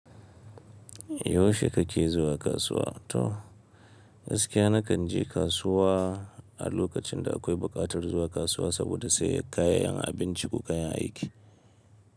Yaushe kake zuwa kasuwa? To, gaskiya nakan je kasuwa a lokacin da akwai buƙatar zuwa kasuwa saboda sayen kayayyakin abinci ko kayan aiki.